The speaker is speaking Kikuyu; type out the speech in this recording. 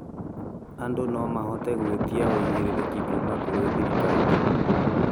andũ nomahote gũĩtia ũigĩrĩrĩki kuuma kurĩ thirikari